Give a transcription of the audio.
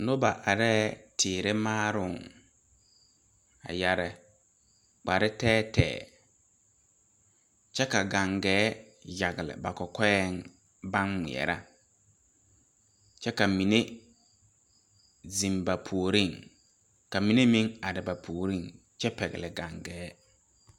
Noba areɛɛ teere maaroŋ a yɛre kpare tɛɛtɛɛ kyɛ ka gaŋgaɛɛ yagle ba kɔkɔɛŋ baŋ ngmɛɛrɛ kyɛ ka mine zeŋ ba puoriŋ ka mine meŋ are ba puoriŋ kyɛ pɛgle gaŋgaɛɛ.